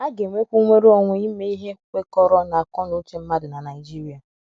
À Ga - enwekwu Nnwere Onwe Ime Ihe Kwekọrọ n’Akọ na Uche Mmadụ na Naịjirịa